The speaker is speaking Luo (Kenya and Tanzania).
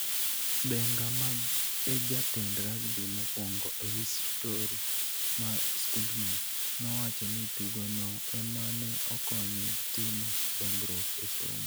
Denga, ma e jatend rugby mokwongo e histori mar skundno, nowacho ni tugono ema ne okonye timo dongruok e somo.